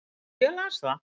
Já, ég las það